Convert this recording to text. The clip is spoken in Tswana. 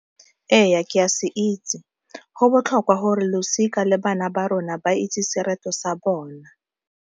Ee ke a se itse go botlhokwa gore losika le bana ba rona ba itse sereto sa bona.